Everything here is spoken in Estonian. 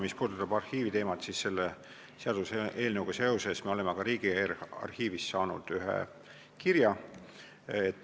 Mis puudutab arhiiviteemat, siis selle seaduseelnõuga seoses me oleme Riigiarhiivist saanud ühe kirja.